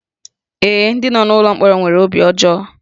Ee, ndị nọ n'ụlọ mkpọrọ nwere obi ọjọọ